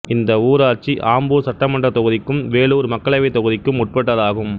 இந்த ஊராட்சி ஆம்பூர் சட்டமன்றத் தொகுதிக்கும் வேலூர் மக்களவைத் தொகுதிக்கும் உட்பட்டதாகும்